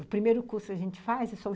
O primeiro curso que a gente faz é só